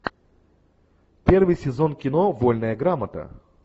первый сезон кино вольная грамота